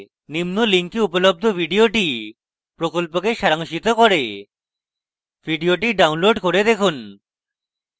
নিম্ন link উপলব্ধ video প্রকল্পকে সারাংশিত করে video download করে দেখুন